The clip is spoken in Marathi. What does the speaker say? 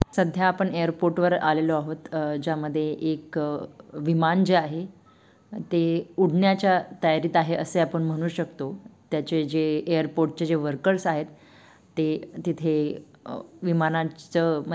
सध्या आपण एअरपोर्ट वर आलेलो आहोत अ-ज्यामधे एक विमान जे आहे ते उडण्याच्या तयारीत आहे असे आपण म्हणु शकतो त्याचे जे एअरपोर्ट चे-जे-वर्कर्स आहेत ते- तिथे अ- विमानांच--